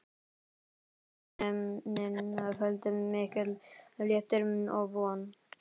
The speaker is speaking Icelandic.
Uppgötvuninni fylgdi mikill léttir og von.